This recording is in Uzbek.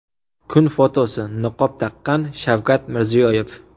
Kun fotosi: Niqob taqqan Shavkat Mirziyoyev.